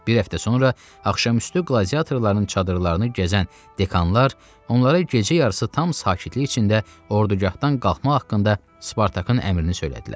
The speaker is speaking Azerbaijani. Bir həftə sonra axşamüstü qladiatorların çadırlarını gəzən dekanlar onlara gecə yarısı tam sakitlik içində ordugahdan qalxmaq haqqında Spartakın əmrini söylədilər.